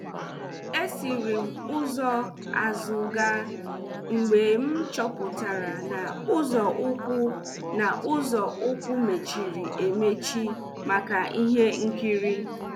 E siri m ụzọ azụ gaa mgbe m choputara na ụzo ukwu na ụzo ukwu mechiri emechi maka ihe nkiri.